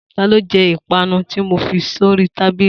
Ta ló je ìpanu tí mo fi sí oríi tábìlì